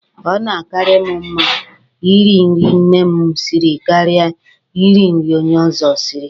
O na-akaara mụ mma Ị ri nri nne mụ siri karịa ị ri nri onye ọzọ siri.